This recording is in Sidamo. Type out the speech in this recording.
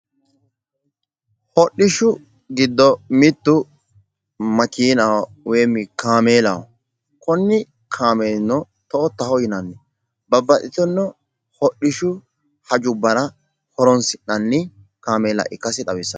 Hodhishshu giddo mittu makiinaho woyi kaameellaho konni kaameelino toyoottaho yinanni babbaxxino hodhishu hajora horonsi'nanniha ikkasi xawisanno.